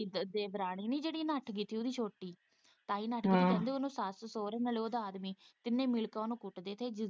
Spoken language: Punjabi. ਦੇਵਰਾਣੀ ਨੀ ਜਿਹੜੀ ਨੱਠ ਗਈ ਸੀ ਉਹਦੀ ਛੋਟੀ ਤਾਂ ਹੀ ਨੱਠ ਗਈ ਸੀ ਕਿ ਸੱਸ -ਸਹੁਰੇ ਨਾਲ਼ ਉਹ ਦਾ ਆਦਮੀ ਤਿੰਨੇ ਮਿਲ ਕੇ ਕੁੱਟਦੇ ਸੀ।